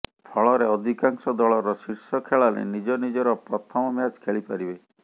ଫଳରେ ଅଧିକାଂଶ ଦଳର ଶୀର୍ଷ ଖେଳାଳି ନିଜ ନିଜର ପ୍ରଥମ ମ୍ୟାଚ୍ ଖେଳି ପାରିବେ